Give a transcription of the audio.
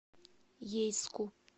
ейску